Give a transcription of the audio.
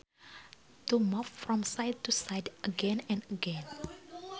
To move from side to side again and again